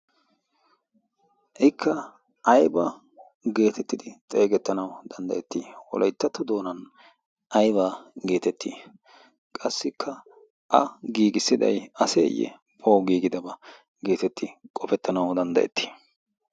ikka ayba geetettidi xeegettanau danddayettii wolayttattu doonan aibaa geetettii qassikka a giigissiday aseeyye poo giigidabaa geetettii qofettanau danddayettii